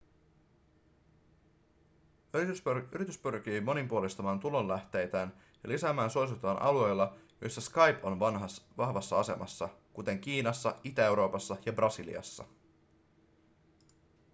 yritys pyrkii monipuolistamaan tulolähteitään ja lisäämään suosiotaan alueilla joilla skype on vahvassa asemassa kuten kiinassa itä-euroopassa ja brasiliassa